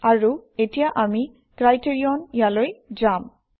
আৰু এতিয়া আমি ক্ৰাইটেৰিয়ন ইয়ালৈ যাম